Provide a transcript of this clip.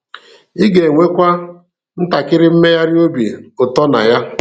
Ị ga-enwekwa ntakịrị mmegharị obi ụtọ na ya.